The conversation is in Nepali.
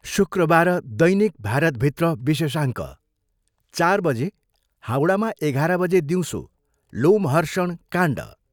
शुक्रवार दैनिक भारतभित्र विशेषाङ्क, चार बजे, हाउडामा एघाह्र बजे दिउँसो लोमहर्षण काण्ड।